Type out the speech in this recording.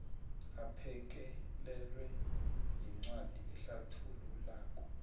aphekelelwe yincwadi ehlathululako